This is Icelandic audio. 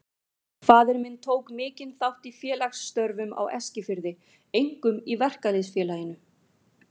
Faðir minn tók mikinn þátt í félagsstörfum á Eskifirði, einkum í Verkalýðs- félaginu.